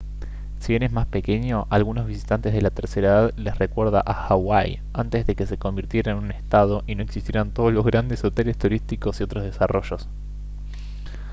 si bien es más pequeño a algunos visitantes de la tercera edad les recuerda a hawái antes de que se convirtiera en un estado y no existieran todos los grandes hoteles turísticos y otros desarrollos